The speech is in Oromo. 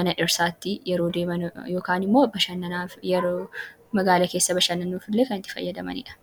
mana dhirsaatti yeroo deeman yookaan immoo bashananaaf yeroo magaalaa keessa bashannaanuufillee kan itti fayyadamanidha.